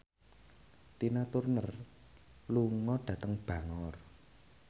Tina Turner lunga dhateng Bangor